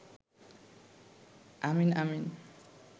আমিন আমিন